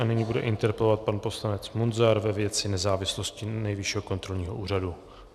A nyní bude interpelovat pan poslanec Munzar ve věci nezávislosti Nejvyššího kontrolního úřadu.